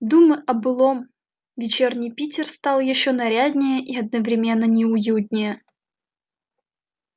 думы о былом вечерний питер стал ещё наряднее и одновременно неуютнее